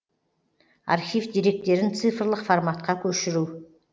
архив деректерін цифрлық форматқа көшіру